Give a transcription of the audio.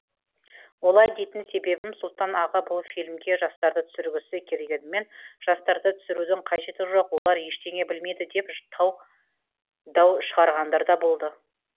олай дейтін себебім сұлтан аға бұл фильмге жастарды түсіргісі келгенімен жастарды түсірудің қажеті жоқ олар ештеңе білмейді деп дау шығарғандар да болды